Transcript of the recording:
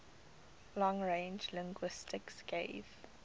long range linguistics gave